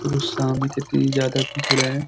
देखो सामने कितनी ज्यादा भीड़ है।